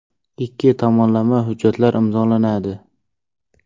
Ikki tomonlama hujjatlar imzolanadi.